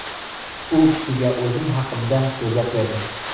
U kishiga o‘zim haqimda so‘zlab berdim.